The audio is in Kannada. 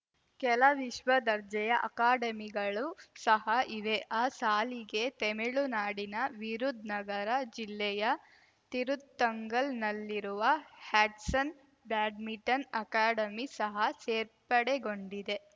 ಕೆಲ ವಿಶ್ವ ದರ್ಜೆಯ ಅಕಾಡೆಮಿಗಳು ಸಹ ಇವೆ ಆ ಸಾಲಿಗೆ ತೆಮಿಳುನಾಡಿನ ವಿರುಧ್‌ನಗರ ಜಿಲ್ಲೆಯ ತಿರುತ್ತಂಗಲ್‌ನಲ್ಲಿರುವ ಹ್ಯಾಟ್ಸನ್‌ ಬ್ಯಾಡ್ಮಿಂಟನ್‌ ಅಕಾಡೆಮಿ ಸಹ ಸೇರ್ಪಡೆಗೊಂಡಿದೆ